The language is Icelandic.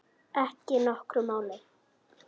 Ekki nokkru máli.